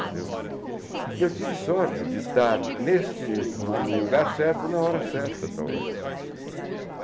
entendeu? E eu tive sorte de estar neste no lugar certo na hora certa, talvez.